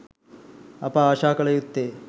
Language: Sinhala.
අප ආශා කළ යුත්තේ